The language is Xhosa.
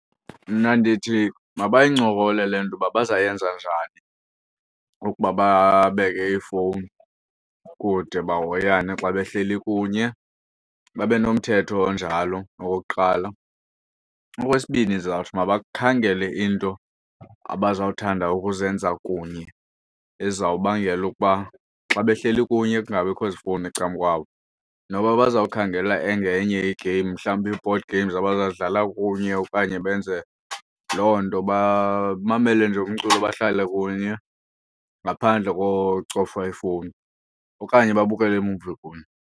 Mna ndithi mabayincokole le nto uba bazawuyenza njani ukuba babeke iifowuni kude bahoyane xa behleli kunye babe nomthetho onjalo okokuqala. Okwesibini ndizawuthi mabakhangele into abazawuthanda ukuzenza kunye ezizawubangela ukuba xa behleli kunye kungabikho zifowuni ecamkwabo. Noba bazawukhangela engenye i-game mhlawumbi i-board games abazawudlala kunye okanye benze loo nto, bamamele nje umculo bahlale kunye ngaphandle kocofa iifowunini, Okanye babukele iimuvi kunye.